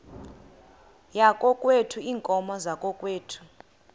yakokwethu iinkomo zakokwethu